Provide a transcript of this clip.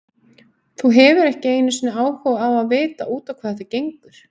Þú hefur þá ekki einu sinni áhuga á að vita út á hvað þetta gengur?